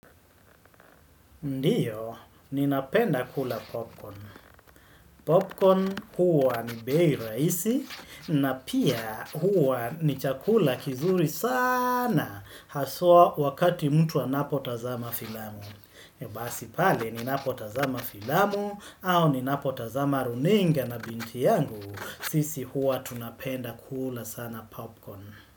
Ndiyo, ninapenda kula popcorn. Popcorn huwa ni bei rahisi na pia huwa ni chakula kizuri saaana haswa wakati mtu anapotazama filamu. Basi pale ninapotazama filamu au ninapotazama runinga na binti yangu, sisi huwa tunapenda kula sana popcorn.